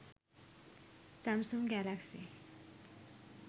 samsung galaxy